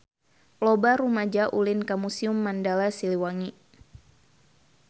Loba rumaja ulin ka Museum Mandala Siliwangi